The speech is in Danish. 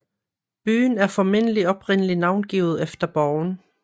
Byen er formentlig oprindelig navngivet efter borgen